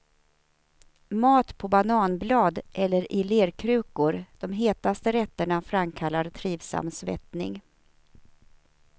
Mat på bananblad eller i lerkrukor, de hetaste rätterna framkallar trivsam svettning.